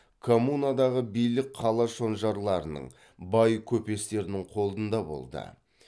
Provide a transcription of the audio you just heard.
коммунадағы билік қала шонжарларының бай көпестердің қолында болды